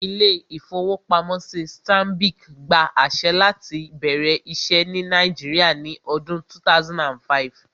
Ilé-ìfowópamọ́sí Stanbic gba àṣẹ láti bẹ̀rẹ̀ iṣẹ́ ní Nàìjíríà ní ọdún 2005